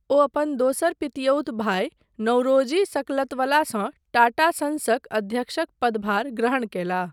ओ अपन दोसर पितियौत भाई नौरोजी सकलतवलासँ टाटा संसक अध्यक्षक पदभार ग्रहण कयलाह।